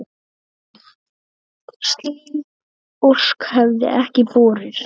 Slík ósk hefði ekki borist.